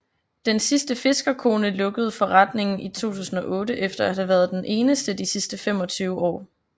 Den sidste fiskerkone lukkede forretningen i 2008 efter at have været den eneste de sidste 25 år